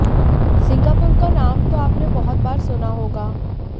Singapore का नाम तो आपने बहुत बार सुना होगा